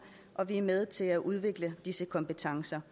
og vi er med til at udvikle disse kompetencer